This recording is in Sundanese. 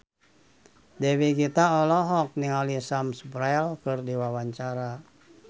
Dewi Gita olohok ningali Sam Spruell keur diwawancara